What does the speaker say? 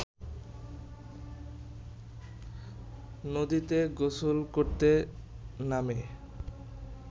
নদীতে গোসল করতে নামে